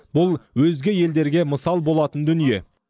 бұл өзге елдерге мысал болатын дүние